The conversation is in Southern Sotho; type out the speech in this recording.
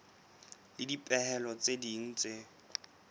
le dipehelo tse ding tse